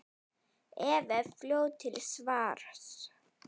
Eva er fljót til svars.